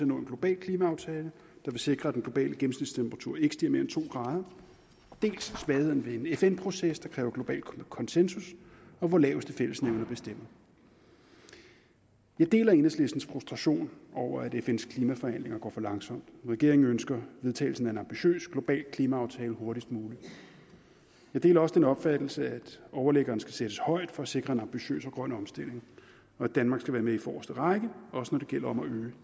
nå en global klimaaftale der vil sikre at den globale gennemsnitstemperatur ikke stiger mere end to grader dels svagheden ved en fn proces der kræver global konsensus og hvor laveste fællesnævner bestemmer jeg deler enhedslistens frustration over at fns klimaforhandlinger går for langsomt regeringen ønsker vedtagelsen af en ambitiøs global klimaaftale hurtigst muligt jeg deler også den opfattelse at overliggeren skal sættes højt for at sikre en ambitiøs og grøn omstilling og at danmark skal være med i forreste række også når det gælder